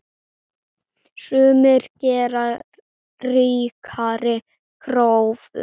Sumir gera ríkari kröfur.